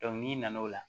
n'i nana o la